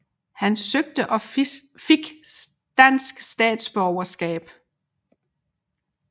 Han søgte og fik dansk statsborgerskab